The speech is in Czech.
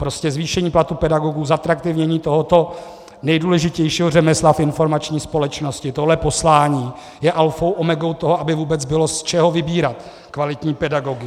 Prostě zvýšení platů pedagogů, zatraktivnění tohoto nejdůležitějšího řemesla v informační společnosti, tohle poslání je alfou omegou toho, aby vůbec bylo z čeho vybírat kvalitní pedagogy.